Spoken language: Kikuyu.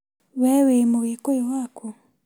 Wee wĩ mũgĩkuyu wakũ?